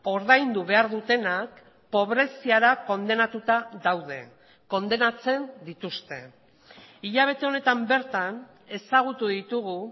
ordaindu behar dutenak pobreziara kondenatuta daude kondenatzen dituzte hilabete honetan bertan ezagutu ditugu